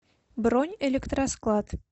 бронь электросклад